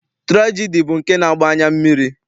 Tụrajedi bụ nke na-agba anya mmiri.